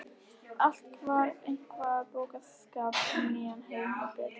Allt var efni í boðskap um nýjan heim og betri